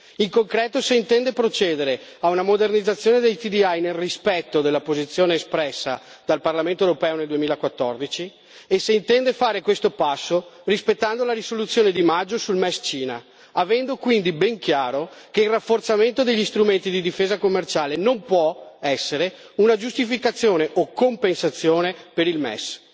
e, in concreto, se intende procedere a una modernizzazione dei TDI, nel rispetto della posizione espressa dal Parlamento europeo nel 2014, e se intende fare questo passo rispettando la risoluzione di maggio sul MES alla Cina, avendo quindi ben chiaro che il rafforzamento degli strumenti di difesa commerciale non può essere una giustificazione o compensazione per il MES.